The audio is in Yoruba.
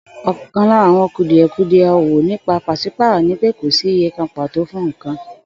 Ò̩kan lára àwo̩n kùdìè̩kudie̩ ò̩wò̩ nípa pàs̩ípàrò̩ ni pé kò sí iye kan pàtò fún nǹkan